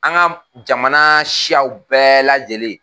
An ka jamana siyaw bɛɛ lajɛlen.